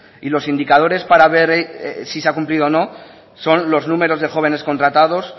y los indicadores para ver si se ha cumplido o no son los números de jóvenes contratados